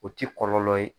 O ti kɔlɔlɔ ye